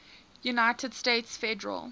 united states federal